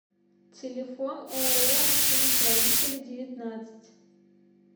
телефон ооо машиностроителей девятнадцать